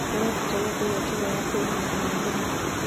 ũrabatara kũgia toro wa kũigana o mũthenya